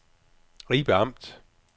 Ribe Amt